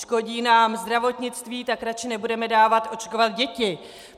Škodí nám zdravotnictví, tak radši nebudeme dávat očkovat děti.